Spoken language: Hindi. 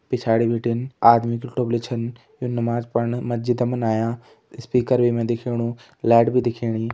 पिछाड़ी बिटिन आदमी की टोपिली छन यु नमाज पण मस्जिद मा आयां स्पीकर वे मा दिखेणु लैट भी दिखेणी।